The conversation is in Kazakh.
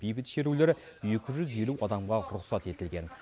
бейбіт шерулер екі жүз елу адамға рұқсат етілген